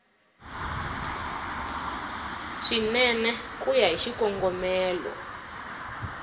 swinene ku ya hi xikongomelo